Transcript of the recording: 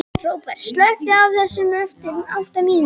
Róbert, slökktu á þessu eftir átta mínútur.